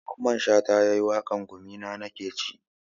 Mamman shata ne yayi waƙar 'gumina nakeci'